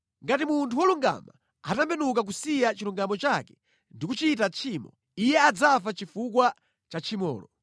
Ngati munthu wolungama atembenuka kusiya chilungamo chake ndi kuchita tchimo, iye adzafa chifukwa cha tchimolo.